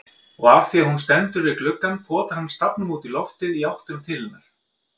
Og afþvíað hún stendur við gluggann potar hann stafnum útí loftið í áttina til hennar.